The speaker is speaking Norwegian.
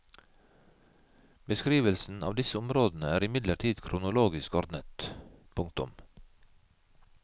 Beskrivelsen av disse områdene er imidlertid kronologisk ordnet. punktum